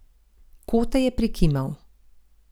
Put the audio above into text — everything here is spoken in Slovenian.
Kote je prikimal.